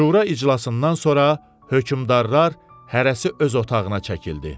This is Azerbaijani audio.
Şura iclasından sonra hökmdarlar hərəsi öz otağına çəkildi.